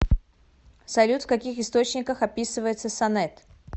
салют в каких источниках описывается сонет